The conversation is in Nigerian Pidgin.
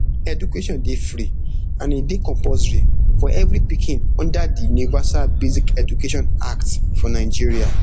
education dey free and e dey compulsory for evri pikin under di universal basic education act for nigeria